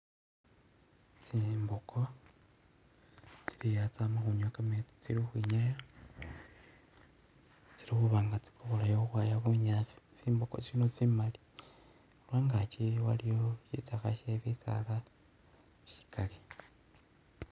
Tsimbogo tsili aa tsama khunywa kameetsi tsili khukhwinyaya tsili khuba nga tsikobolayo khukhwaya bunyaasi tsimbogo tsino tsimali khugachi waliyo shitsakha she bisaala shikali.